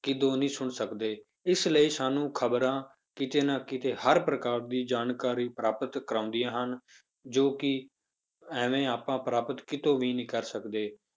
ਕਿਤੋਂ ਨੀ ਸੁਣ ਸਕਦੇ ਇਸ ਲਈ ਸਾਨੂੰ ਖ਼ਬਰਾਂ ਕਿਤੇ ਨਾ ਕਿਤੇ ਹਰ ਪ੍ਰਕਾਰ ਦੀ ਜਾਣਕਾਰੀ ਪ੍ਰਾਪਤ ਕਰਵਾਉਂਦੀਆਂ ਹਨ ਜੋ ਕਿ ਐਵੇਂ ਆਪਾਂ ਪ੍ਰਾਪਤ ਕਿਤੋਂ ਵੀ ਨਹੀਂ ਕਰ ਸਕਦੇ